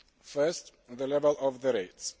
First, the level of the rates.